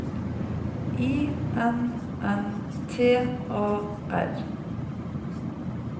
I N N T A R